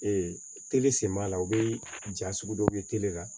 sen b'a la u bɛ ja sugu dɔw ye tele la